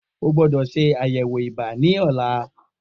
O gbódò ṣe àyẹ̀wò ibà ní ọ̀la